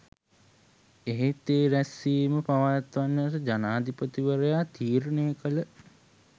එහෙත් ඒ රැස්‌වීම පවත්වන්නට ජනාධිපතිවරයා තීරණය කළ